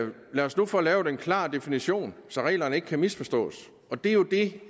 lad os nu få lavet en klar definition så reglerne ikke kan misforstås og det og det